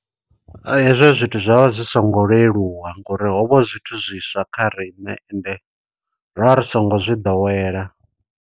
Hezwo zwithu zwo vha zwi songo leluwa ngo uri hovha hu zwithu zwiswa kha riṋe ende, ra ri songo zwi ḓowela.